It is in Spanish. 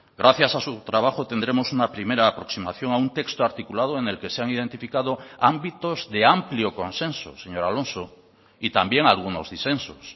gracias a su trabajo tendremos una primera aproximación a un texto articulado en el que se han identificado ámbitos de amplio consenso señor alonso y también algunos disensos